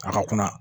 A ka kuma